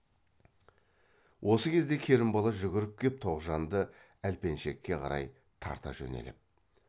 осы кезде керімбала жүгіріп кеп тоғжанды әлпеншекке қарай тарта жөнеліп